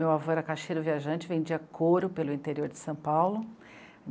Meu avô era caixeiro viajante, vendia couro pelo interior de São Paulo.